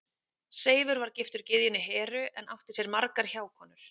Seifur var giftur gyðjunni Heru en átti sér margar hjákonur.